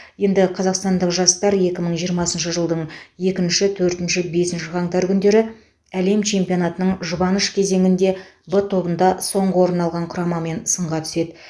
енді қазақстандық жастар екі мың жиырмасыншы жылдың екінші төртінші бесінші қаңтар күндері әлем чемпионатының жұбаныш кезеңінде в тобында соңғы орын алған құрамамен сынға түседі